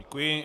Děkuji.